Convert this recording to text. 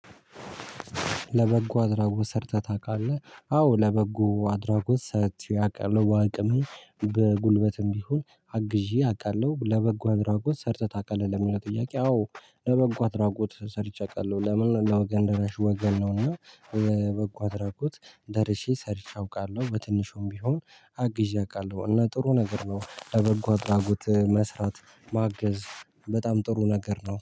ለበጎ አድራጎት ሰርተህ ታውቃለህ አዎ ለበጎ አድራጎት ሰርቼ አውቃለሁ በአቅሜ በጉልበትም ቢሆን አግዤ አውቃለሁ። ለበጎ አድራጎት ሰርተህ ታውቃለህ? ለሚለው ጥያቄ አዎ ለበጎ አድራጎት ሰርቼ አውቃለሁ። ለምን ለወገን ደረሽ ወገን ነውና በበጎ አድራጎት ደርሼ ሰርቼ አውቃለሁ። በትንሹም ቢሆን አግዤ አውቃለሁ። እና ጥሩ ነገር ነው ለበጎ አድራጎት መስራት ማገዝ በጣም ጥሩ ነገር ነው